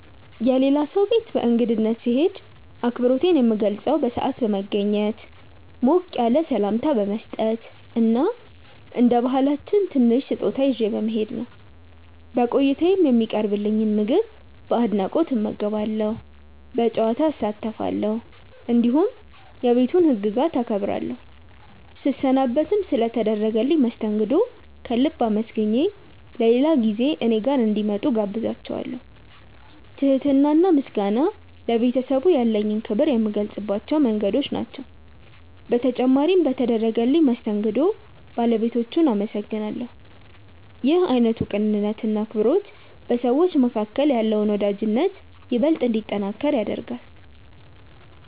የሌላ ሰው ቤት በእንግድነት ስሄድ አክብሮቴን የምገልጸው በሰዓት በመገኘት፣ ሞቅ ያለ ሰላምታ በመስጠት እና እንደ ባህላችን ትንሽ ስጦታ ይዤ በመሄድ ነው። በቆይታዬም የሚቀርብልኝን ምግብ በአድናቆት እመገባለሁ፣ በጨዋታ እሳተፋለሁ፣ እንዲሁም የቤቱን ህግጋት አከብራለሁ። ስሰናበትም ስለ ተደረገልኝ መስተንግዶ ከልብ አመስግኜ በሌላ ጊዜ እኔ ጋር እንዲመጡ እጋብዛቸዋለው። ትህትና እና ምስጋና ለቤተሰቡ ያለኝን ክብር የምገልጽባቸው መንገዶች ናቸው። በተጨማሪም በተደረገልኝ መስተንግዶ ባለቤቶቹን አመሰግናለሁ። ይህ አይነቱ ቅንነት እና አክብሮት በሰዎች መካከል ያለውን ወዳጅነት ይበልጥ እንዲጠነክር ያደርጋል።